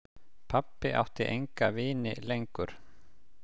Pabbi átti enga vini lengur.